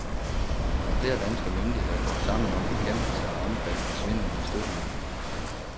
Flere danske myndigheder går sammen om bekæmpelse af omfattende svindel med støttemidler.